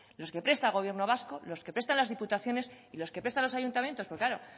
los que presta el gobierno vasco los que prestan las diputaciones y los que prestan los ayuntamientos pues claro